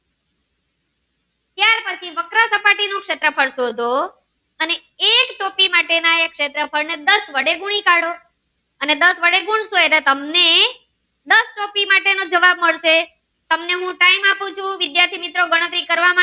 નું શેત્રફ્ળ શોધો અને એક ટોપી માટે એના એક શેત્રફ્ળ ને દસ વડે ગુણી કાઢો અને દસ વડે ગુણસો એટલે તમને દસ ટોપી માટે નો જવાબ મળશે તમને બહુ time આપું ચુ વિદ્યાર્થી મિત્રો ગણતરી કરવા.